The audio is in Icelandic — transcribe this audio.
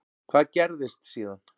Hvað gerðist síðan?